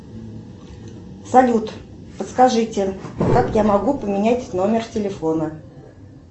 салют подскажите как я могу поменять номер телефона